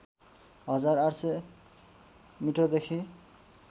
हजार ८०० मिटरदेखि